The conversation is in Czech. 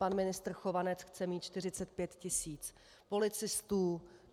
Pan ministr Chovanec chce mít 45 tisíc policistů.